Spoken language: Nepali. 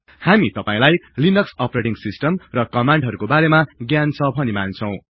हामी तपाईलाई लिनक्स अपरेटिङ सिस्टम र कमान्डहरुको बारेमा ज्ञान छ भनि मान्छौ